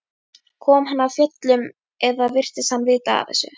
Kom hann af fjöllum eða virtist hann vita af þessu?